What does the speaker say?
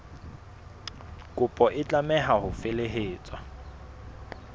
kopo e tlameha ho felehetswa